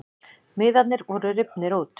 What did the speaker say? Miðarnir voru rifnir út